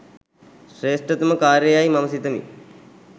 ශ්‍රේෂ්ඨතම කාර්ය යැයි මම සිතමි.